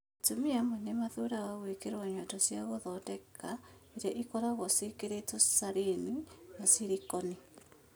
Atumia amwe nĩ mathuuraga gwĩkĩrwo nyondo cia gũthondeka, iria ikoragũo ciĩkĩrĩtwo saline kana silicone.